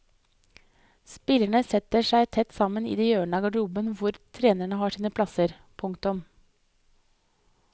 Spillerne setter seg tett sammen i det hjørnet av garderoben hvor trenerne har sine plasser. punktum